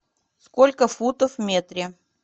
сколько футов в метре